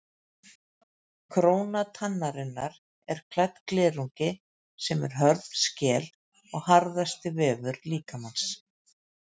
Króna tannarinnar er klædd glerungi sem er hörð skel og harðasti vefur líkamans.